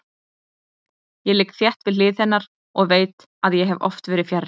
Ég ligg þétt við hlið hennar og veit að ég hef oft verið fjarri.